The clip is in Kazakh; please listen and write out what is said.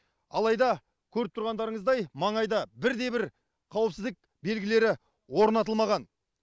алайда көріп тұрғандарыңыздай маңайда бірде бір қауіпсіздік белгілері орнатылмаған